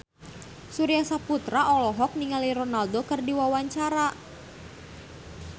Surya Saputra olohok ningali Ronaldo keur diwawancara